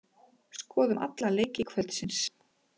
Skoðum alla leiki kvöldsins.